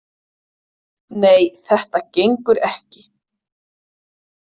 Nei, þetta gengur ekki.